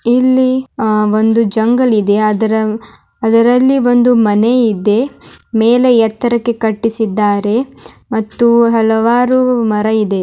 ಇಲ್ಲಿ ಅಹ್ ಒಂದು ಜಂಗಲ್ ಇದೆ. ಅದರ ಅದರಲ್ಲಿ ಬಂದು ಮನೆ ಇದೆ. ಮೇಲೇ ಎತ್ತರಕ್ಕೆ ಕಟ್ಟಿಸಿದ್ದಾರೆ ಮತ್ತು ಹಲವಾರು ಮರ ಇದೆ.